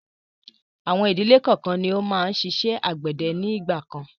Àwọn ìdílé kọọ́kan ni ó máa ń ṣiṣẹ́ àgbẹ̀dẹ ni ìgbàkan.